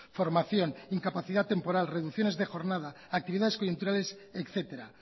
formación incapacidad temporal reducciones de jornada actividades coyunturales etcétera